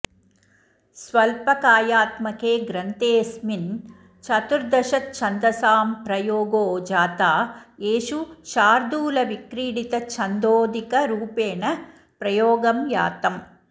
स्वल्पकायात्मके ग्रन्थेऽस्मिन् चतुर्दशछन्दसां प्रयोगो जाता येषु शार्दूलविक्रीडितछन्दोऽधिकरूपेण प्रयोगं यातम्